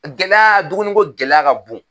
Gɛlɛya dumuni ko gɛlɛya ka bon